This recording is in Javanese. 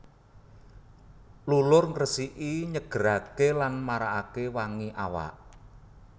Lulur ngresiki nyegeraké lan marakaké wangi awak